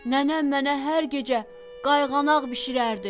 Nənəm mənə hər gecə qayğanaq bişirərdi.